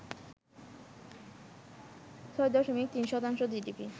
৬ দশমিক ৩ শতাংশ জিডিপি